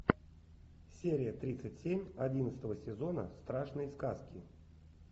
серия тридцать семь одиннадцатого сезона страшные сказки